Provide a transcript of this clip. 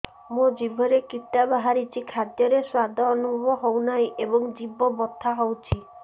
ମୋ ଜିଭରେ କିଟା ବାହାରିଛି ଖାଦ୍ଯୟରେ ସ୍ୱାଦ ଅନୁଭବ ହଉନାହିଁ ଏବଂ ଜିଭ ବଥା ହଉଛି